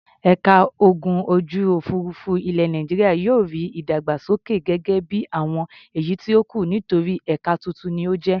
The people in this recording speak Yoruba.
Ẹ̀ka ogun ojú-òfurufú ilẹ̀ Nàìjíríà yóò rí ìdàgbàsókè gẹ́gẹ́ bí àwọn èyí tó kù nítorí ẹ̀ka tuntun ni ó jẹ́.